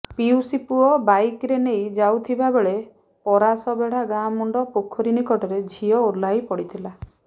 ପିଉସୀ ପୁଅ ବାଇକରେ ନେଇ ଯାଇଥିବା ବେଳେ ପରାସବେଢ଼ା ଗାଁ ମୁଣ୍ଡ ପୋଖରୀ ନିକଟରେ ଝିଅ ଓହ୍ଲାଇ ପଡ଼ିଥିଲା